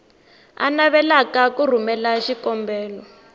a navelaka ku rhumela xikombelo